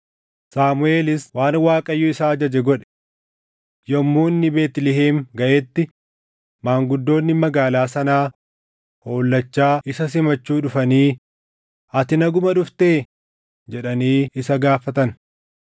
Saamuʼeelis waan Waaqayyo isa ajaje godhe. Yommuu inni Beetlihem gaʼetti maanguddoonni magaalaa sanaa hollachaa isa simachuu dhufanii, “Ati naguma dhuftee?” jedhanii isa gaafatan.